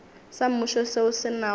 sa mmušo seo se nago